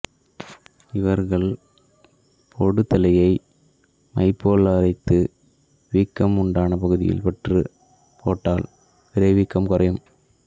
இவர்கள் பொடுதலையை மைபோல் அரைத்து வீக்கம் உண்டான பகுதியில் பற்று போட்டால் விரைவீக்கம் குறையும்